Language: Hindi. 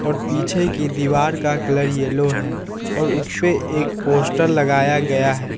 और पीछे की दीवार का कलर येलो है और उसपे एक पोस्टर लगाया गया है।